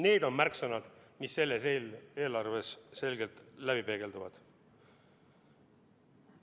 Need on märksõnad, mis sellest eelarvest selgelt vastu peegelduvad.